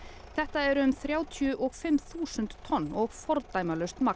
þetta eru um þrjátíu og fimm þúsund tonn og fordæmalaust magn